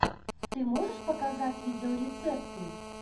ты можешь показать видеорецепты